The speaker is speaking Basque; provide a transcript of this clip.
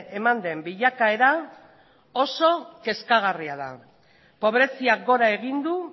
eman den bilakaera oso kezkagarria da pobreziak gora egin du